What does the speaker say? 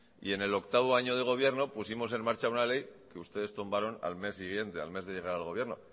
y en el octavo año de gobierno pusimos en marcha una ley que ustedes tumbaron al mes siguiente de llegar al gobierno